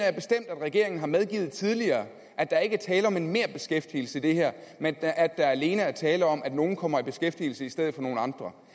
regeringen har medgivet tidligere at der ikke er tale om en merbeskæftigelse i det her men at der alene er tale om at nogle kommer i beskæftigelse i stedet for nogle andre